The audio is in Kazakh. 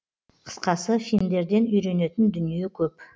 қысқасы финдерден үйренетін дүние көп